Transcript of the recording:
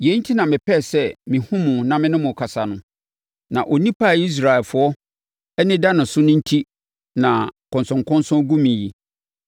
Yei enti na mepɛɛ sɛ mehunu mo na me ne mo kasa no, na onipa a Israelfoɔ ani da ne so no enti na nkɔnsɔnkɔnsɔn gu me yi.”